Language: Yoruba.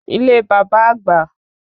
Ile bàbá àgbà